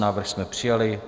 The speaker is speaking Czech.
Návrh jsme přijali.